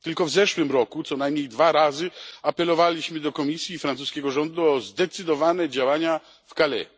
Tylko w zeszłym roku co najmniej dwa razy apelowaliśmy do Komisji i francuskiego rządu o zdecydowane działania w Calais.